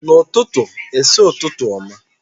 N'ututu i si, Ututu oma.